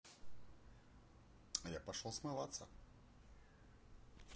я пошёл смываться